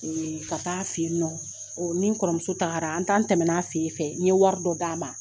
Ee ka ta'a fɛ yen nɔ ni n kɔrɔmuso taara an tɛmɛna a fɛ yen nɔ n ye wari dɔ d'a ma